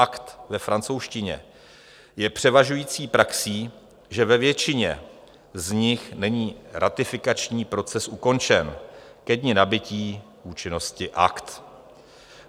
Akt ve francouzštině je převažující praxí, že ve většině z nich není ratifikační proces ukončen ke dni nabytí účinnosti Akt.